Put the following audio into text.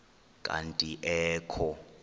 kanti ee kho